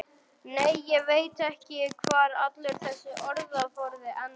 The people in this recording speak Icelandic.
Nei, ég veit ekki hvar allur þessi orðaforði endar.